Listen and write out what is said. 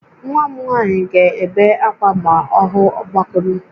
Nwa m nwanyị ga-ebe akwa ma ọ hụ ọgbakụrụ